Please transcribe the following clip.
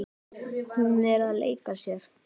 Hún er að leika sér.